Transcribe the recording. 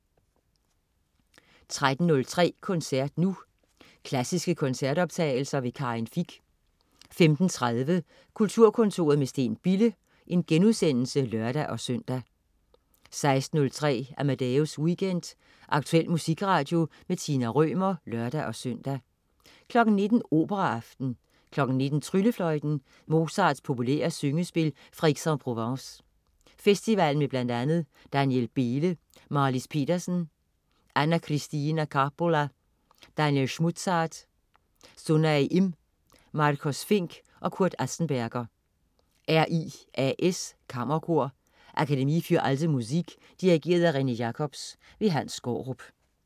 13.03 Koncert nu. Klassiske koncertoptagelser. Karin Fich 15.30 Kulturkontoret med Steen Bille* (lør-søn) 16.03 Amadeus Weekend. Aktuel musikradio. Tina Rømer (lør-søn) 19.00 Operaaften. 19.00 Tryllefløjten. Mozarts populære syngespil fra Aix-en-Provence Festivalen med bl.a. Daniel Behle, Marlis Petersen, Anna-Kristiina Kaapola, Daniel Schmutzhard, Sunhae Im, Marcos Fink og Kurt Azesberger. RIAS Kammerkor. Akademie für alte Musik. Dirigent: René Jacobs. Hans Skaarup